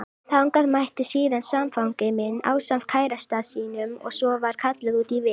Þangað mætti síðan samfangi minn ásamt kærasta sínum og svo var kallað út í vél.